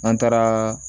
An taara